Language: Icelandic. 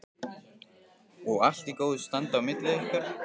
Og allt í góðu standi á milli ykkar?